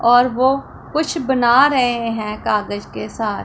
और वो कुछ बना रहे हैं कागज के साथ--